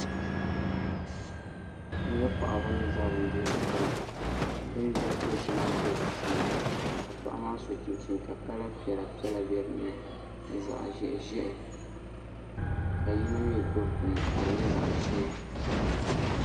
N nyɛ paɣaba ni ʒɛ bindira gbuni bindiri dozima ʒɛ bi sani ka paɣa maa so chinchini ka kala piɛla piɛla bɛ dinni ni zaɣ ʒiɛhi ʒiɛhi ka yino mii gbubi bini ka di nyɛ zaɣ ʒiɛ